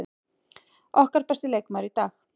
Okkar besti leikmaður í dag.